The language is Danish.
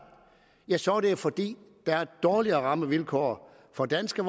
så er det fordi der er dårligere rammevilkår for danske